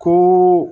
Ko